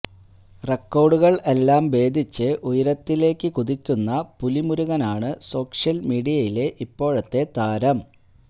റെക്കോർഡുകൾ എല്ലാം ഭേദിച്ച് ഉയരത്തിലേക്ക് കുതിക്കുന്ന പിലുമുരുകനാണ് സോഷ്യൽ മീഡിയയിലെ ഇപ്പോഴത്തെ താരം